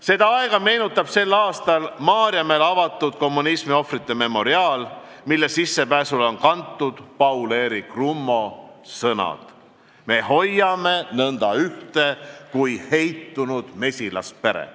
Seda aega meenutab tänavu Maarjamäel avatud kommunismiohvrite memoriaal, mille sissepääsule on kantud Paul-Eerik Rummo sõnad: "Me hoiame nõnda ühte kui heitunud mesilaspere.